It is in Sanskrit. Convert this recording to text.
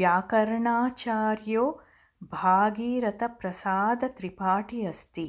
व्याकरणाचार्यों भागीरथप्रसादत्रिपाठी अस्ति